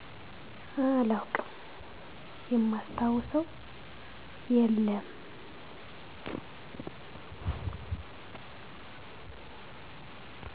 አላውቅም ማስታውሰው የለም